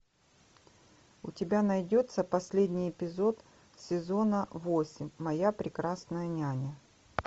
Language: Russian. у тебя найдется последний эпизод сезона восемь моя прекрасная няня